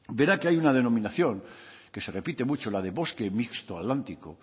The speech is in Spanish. verá que hay una denominación que se repite mucho la de bosque mixto atlántico